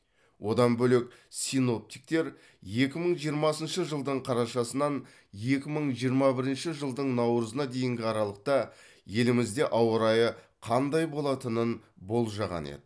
одан бөлек синоптиктер екі мың жиырмасыншы жылдың қарашасынан екі мың жиырма бірінші жылдың наурызына дейінгі аралықта елімізде ауа райы қандай болатынын болжаған еді